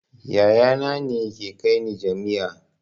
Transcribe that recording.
Yaya na ne ya kai ni jami'a